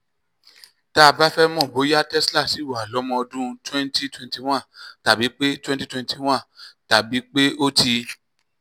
tá a bá fẹ́ mọ̀ bóyá tesla ṣì wà lọ́mọ ọdún twenty twenty one tàbí pé twenty twenty one tàbí pé ó ti